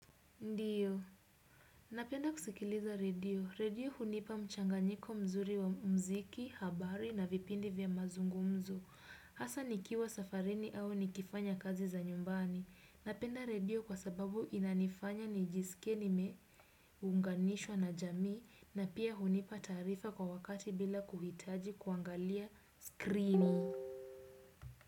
Ndiyo. Napenda kusikiliza redio. Redio hunipa mchanganyiko mzuri wa mziki, habari na vipindi vya mazungumzo. Hasa nikiwa safarini au nikifanya kazi za nyumbani. Napenda redio kwa sababu inanifanya nijisikie nimeunganishwa na jamii na pia hunipa taarifa kwa wakati bila kuhitaji kuangalia skrini.